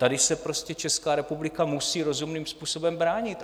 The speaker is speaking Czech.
Tady se prostě Česká republika musí rozumným způsobem bránit.